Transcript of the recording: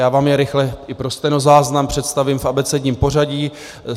Já vám je rychle i pro stenozáznam představím v abecedním pořadí.